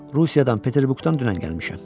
Rusiyadan, Peterburqdan dünən gəlmişəm.